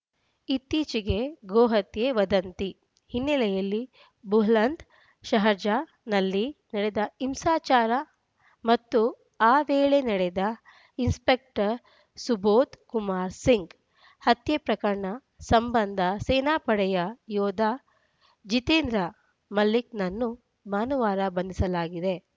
ಇತ್ತೀಚೆಗೆ ಗೋಹತ್ಯೆ ವದಂತಿ ಹಿನ್ನೆಲೆಯಲ್ಲಿ ಬುಲಂದ್‌ಶಹರ್‌ನಲ್ಲಿ ನಡೆದ ಹಿಂಸಾಚಾರ ಮತ್ತು ಆ ವೇಳೆ ನಡೆದ ಇನ್ಸ್‌ಪೆಕ್ಟರ್ ಸುಭೋದ್‌ ಕುಮಾರ್ ಸಿಂಗ್‌ ಹತ್ಯೆ ಪ್ರಕರಣ ಸಂಬಂಧ ಸೇನಾಪಡೆಯ ಯೋಧ ಜಿತೇಂದ್ರ ಮಲಿಕ್‌ನನ್ನು ಭಾನುವಾರ ಬಂಧಿಸಲಾಗಿದೆ